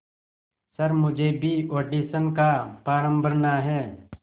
sir मुझे भी audition का फॉर्म भरना है